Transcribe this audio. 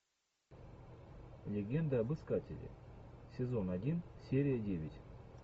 легенда об искателе сезон один серия девять